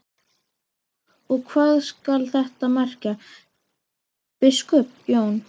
Og hvað skal þetta merkja, biskup Jón?